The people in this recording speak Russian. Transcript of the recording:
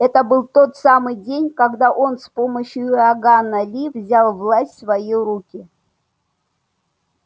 это был тот самый день когда он с помощью иоганна ли взял власть в свои руки